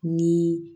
Ni